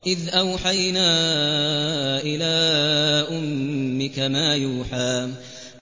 إِذْ أَوْحَيْنَا إِلَىٰ أُمِّكَ مَا يُوحَىٰ